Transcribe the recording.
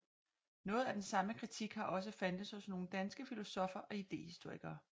Noget af den samme kritik har også fandtes hos nogle danske filosoffer og idehistorikere